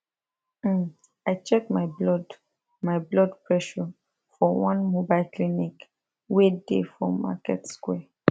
um i check my blood my blood pressure for one mobile clinic wey dey for market square